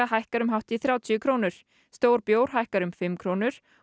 hækkar um hátt í þrjátíu krónur stór bjór hækkar um fimm krónur